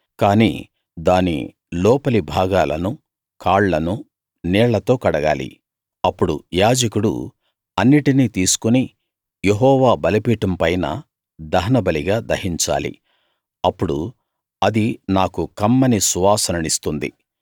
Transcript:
కానీ దాని లోపలి భాగాలనూ కాళ్ళనూ నీళ్ళతో కడగాలి అప్పుడు యాజకుడు అన్నిటినీ తీసుకుని యెహోవా బలిపీఠం పైన దహనబలిగా దహించాలి అప్పుడు అది నాకు కమ్మని సువాసననిస్తుంది